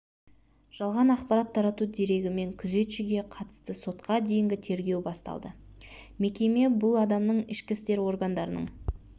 жалған ақпарат тарату дерегімен күзетшіге қатысты сотқа дейінгі тергеу басталды мекеме бұл адамның ішкі істер органдарының